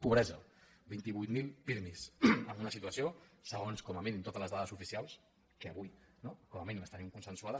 pobresa vint vuit mil pirmi en una situació segons totes les dades oficials que avui com a mínim tenim consensuades